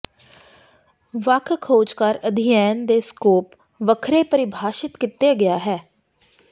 ਵੱਖ ਖੋਜਕਾਰ ਅਧਿਐਨ ਦੇ ਸਕੋਪ ਵੱਖਰੇ ਪਰਿਭਾਸ਼ਿਤ ਕੀਤਾ ਗਿਆ ਹੈ